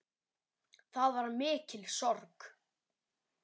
Það var mikil sorg.